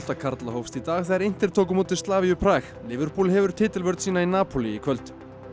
karla hófst í dag þegar inter tók á móti Prag liverpool hefur titilvörn sína í Napoli í kvöld